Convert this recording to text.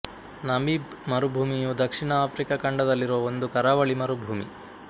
Namib ಮರುಭೂಮಿಯು ದಕ್ಷಿಣ Africa ಖಂಡದಲ್ಲಿರುವ ಒಂದು ಕರಾವಳಿ ಮರುಭೂಮಿ